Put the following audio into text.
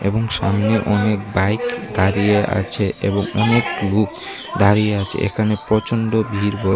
এবং সামনে অনেক বাইক দাঁড়িয়ে আছে এবং অনেক লোক দাঁড়িয়ে আছে এখানে প্রচণ্ড ভিড় ব--